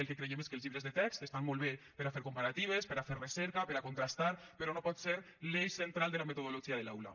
el que creiem és que els llibres de text estan molt bé per a fer comparatives per a fer recerca per a contrastar però no pot ser l’eix central de la metodologia de l’aula